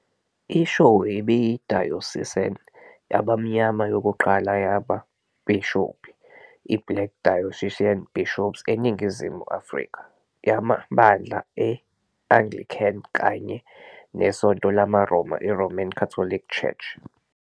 IShowe, ibiyi-Diocesan yabamnyama yokuqala yabaBhishobhi i-Black Diocesan Bishops eNingizimu Afrika, yamabandla e-Anglican kanye nesonto lamaRoma i-Roman Catholic Church.